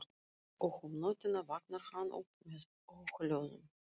Og um nóttina vaknar hann upp með óhljóðum.